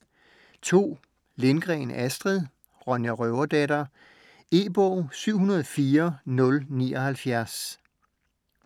Lindgren, Astrid: Ronja røverdatter E-bog 704079